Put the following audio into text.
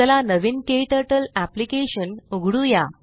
चला नवीन KTurtle application उघडुया